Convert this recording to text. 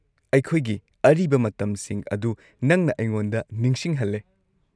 ꯑꯩꯈꯣꯏꯒꯤ ꯑꯔꯤꯕ ꯃꯇꯝꯁꯤꯡ ꯑꯗꯨ ꯅꯪꯅ ꯑꯩꯉꯣꯟꯗ ꯅꯤꯡꯁꯤꯡꯍꯜꯂꯦ꯫